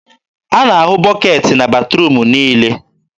a na-ahụ bọketị na batruum niile.